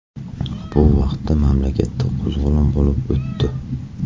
Bu vaqtda mamlakatda qo‘zg‘olon bo‘lib o‘tdi.